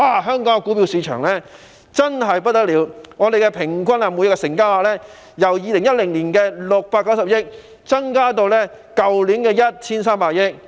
香港的股票市場表現真是非常理想，平均每日成交額由2010年的690億元增至去年 1,300 億元。